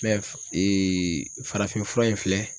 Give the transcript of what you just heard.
f farafin fura in filɛ